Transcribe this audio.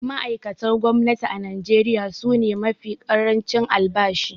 Ma’aikatan gwamnati a Najeriya su ne mafi ƙarancin albashi.